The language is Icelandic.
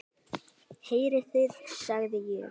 Heyrið þið, sagði ég.